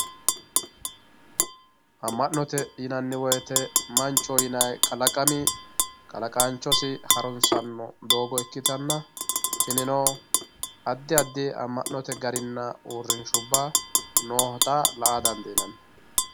amma'note yinanni woyiite manchoho ynay kalaqami kalaqaanchosi harunsanno doogo ikkitanna tinino addi addi amma'note daninna uurrinshubba noota la"a dandiinanni